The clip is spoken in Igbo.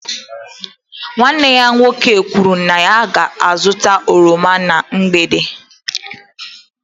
Nwanne ya nwoke kwuru na ya ga-azụta oroma na mgbede